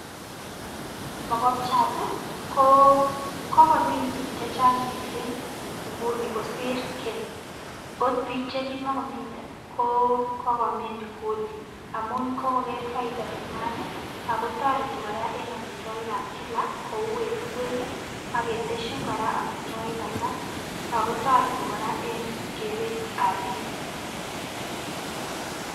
Mokobchat ii ko kokomin piik che chang mising nguni kosir keny, ot piik che kimokomine ko kokomin inguni amun kokoker faida nenywan ii, ako toreti kora en amitwogikab kila kou en ingwek ii, ak ketesyin kora amitwogik alak ak ko toreti kora en keretab piik.